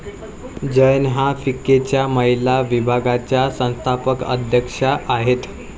जैन ह्या फिक्कीच्या महिला विभागाच्या संस्थापक अध्यक्षा आहेत.